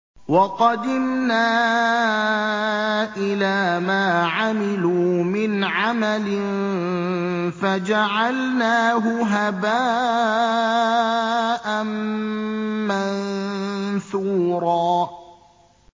وَقَدِمْنَا إِلَىٰ مَا عَمِلُوا مِنْ عَمَلٍ فَجَعَلْنَاهُ هَبَاءً مَّنثُورًا